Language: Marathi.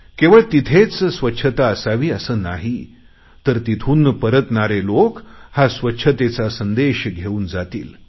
केवळ तिथेच स्वच्छता असावी असे नाही तर तिथून परतणारे लोक हा स्वच्छतेचा संदेश घेऊन जातील